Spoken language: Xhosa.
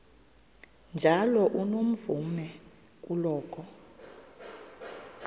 njalo unomvume kuloko